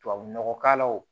Tubabu nɔgɔ k'a la wo